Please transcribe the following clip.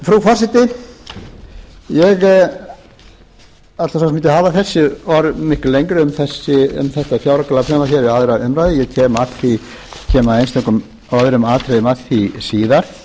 frú forseti ég ætla svo sem ekki að hafa þessi orð miklu lengri um þetta fjáraukalagafrumvarp hér við aðra umræðu ég kem í einstökum öðrum atriðum að því síðar